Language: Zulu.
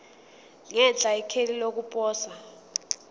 ngenhla ikheli lokuposa